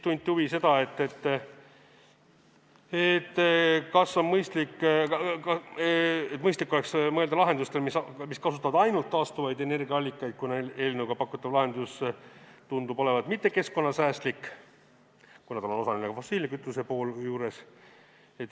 Tunti huvi, kas oleks mõistlik mõelda lahendusele, mis kasutab ainult taastuvaid energiaallikaid, kuna eelnõuga pakutav lahendus tundub olevat mittekeskkonnasäästlik, seal on osaliselt ka fossiilkütuse pool juures.